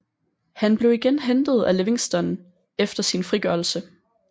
Han blev igen hentet af Livingston efter sin frigørelse